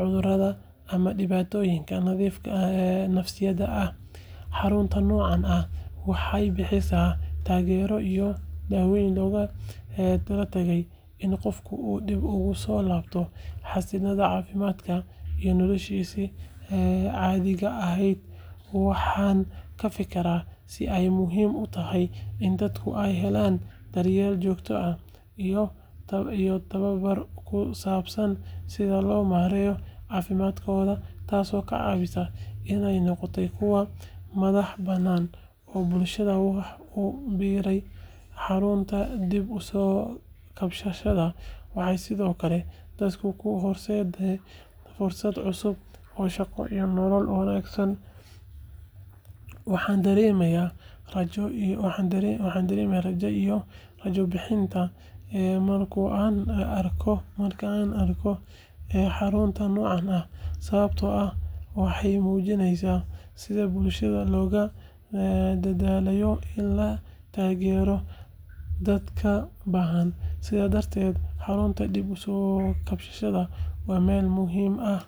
cudurada, ama dhibaatooyinka nafsaaniga ah. Xarunta noocan ah waxay bixisaa taageero iyo daaweyn loogu talagalay in qofka uu dib ugu soo laabto xaaladdiisa caafimaad iyo noloshiisii caadiga ahayd. Waxaan ka fikiraa sida ay muhiim u tahay in dadka ay helaan daryeel joogto ah iyo tababar ku saabsan sida loo maareeyo caafimaadkooda, taasoo ka caawisa inay noqdaan kuwo madax bannaan oo bulshada wax ku biiriya. Xarunta dib u soo kabashada waxay sidoo kale dadka u horseedaa fursado cusub oo shaqo iyo nolol wanaagsan. Waxaan dareemaa rajada iyo rajo bixinta marka aan arko xarunta noocan ah, sababtoo ah waxay muujinaysaa sida bulshada loogu dadaalayo in la taageero dadka baahan. Sidaas darteed, xarunta dib u soo kabashada waa meel muhiim ah.